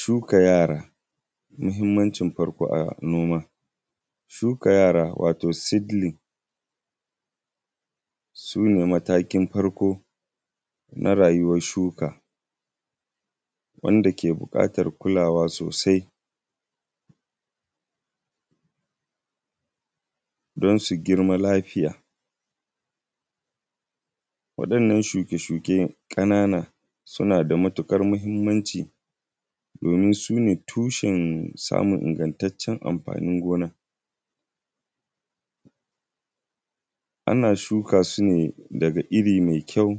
Shuka yara muhimmancin noma. Shuka yara wato seedling su ne matakin farko na rayuwar shuka, wanda ke buƙatar kulawa sosai don su girma lafiya. Waɗannan shuke-shuke ƙanana. suna da mutuƙar muhimmanci domin su ne tushen samun ingantaccen amfanin gona. Ana shuka su ne daga iri mai kyau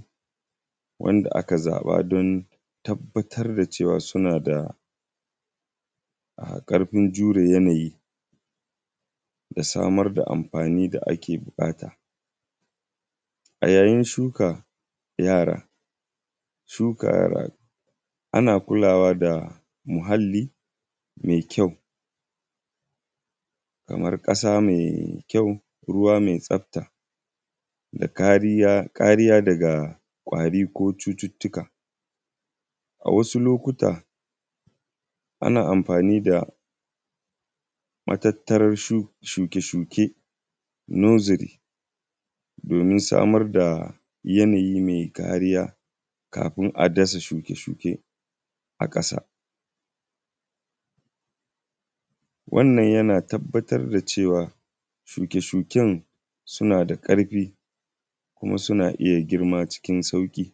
wanda aka zaɓa don tabbatar da cewa suna da ƙarfin jure yanayi, da samar da amfani da ake buƙata. A yayin shuka yara, shuka yara, ana kulawa da muhalli mai kyau. Kamar ƙasa mai kyau ruwa mai tsafta, da kariya daga ƙwari ko cututtuka. A wasu lokuta, ana amfani da matattarar shuke-shuke (nursery), domin samar da yanayi mai kariya kafin a dasa shuke-shuke a ƙasa. Wannan yana tabbatar da cewa shuke-shuken suna da ƙarfi kuma suna iya girma cikin sauƙi.